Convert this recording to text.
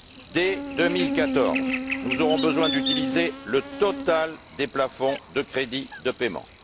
Dès 2014, nous aurons besoin d'utiliser le total des plafonds de crédits de paiement.